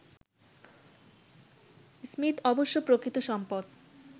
Smith অবশ্য প্রকৃত সম্পদ